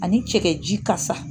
Ani cɛ ji kasa